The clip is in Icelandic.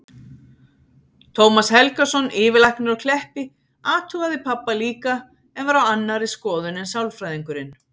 Tómas Helgason, yfirlæknir á Kleppi, athugaði pabba líka en var á annarri skoðun en sálfræðingurinn.